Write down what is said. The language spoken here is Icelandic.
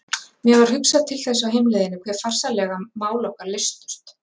Mér var hugsað til þess á heimleiðinni hve farsællega mál okkar leystust.